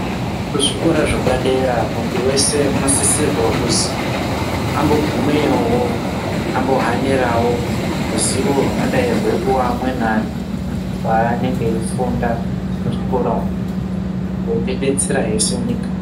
Kuzvikora zvepadera muntu wese unosisirwa kuzi ambogumeyowo ambohanirawo ruzivo runodayi rweipuwa amweni antu paanenge eifunda muzvikora umwu, rwotidetserahe senyika.